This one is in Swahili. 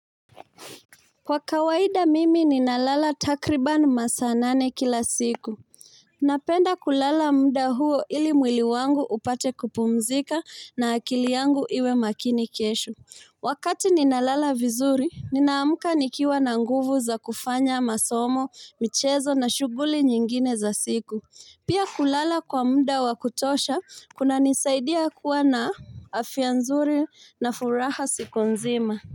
Kwa kawaida mimi ninalala takriban masaa nane kila siku. Napenda kulala muda huo ili mwili wangu upate kupumzika na akili yangu iwe makini kesho Wakati ninalala vizuri ninaamka nikiwa na nguvu za kufanya masomo, michezo na shughuli nyingine za siku. Pia kulala kwa muda wa kutosha kunanisaidia kuwa na afya nzuri na furaha siku nzima.